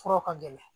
Furaw ka gɛlɛn